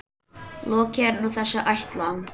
Lokið er nú þessi ætlan.